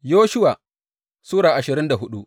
Yoshuwa Sura ashirin da hudu